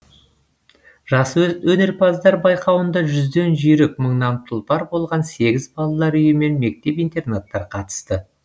жас өнерпаздар байқауында жүзден жүйрік мыңнан тұлпар болған сегіз балалар үйі мен мектеп интернаттар қатысты